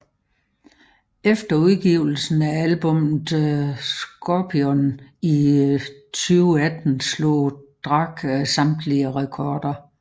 Efter udgivelsen af albummet Scorpion i 2018 slog Drake samtlige rekorder